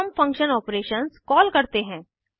अब हम function operations call करते हैं